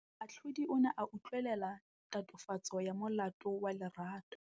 Moatlhodi o ne a utlwelela tatofatsô ya molato wa Lerato.